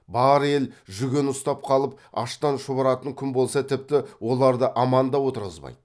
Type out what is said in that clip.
бар ел жүген ұстап қалып аштан шұбыратын күн болса тіпті оларды аман да отырғызбайды